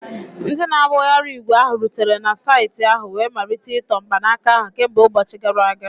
Ndị na-agbagharị ígwè ahụ rutere na saịtị ahụ wee malite ịtọ mkpanaka ahụ kemgbe ụbọchị gara aga